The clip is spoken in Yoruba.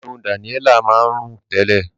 Ẹnu Daniella máa ń rùn tẹ́lẹ̀.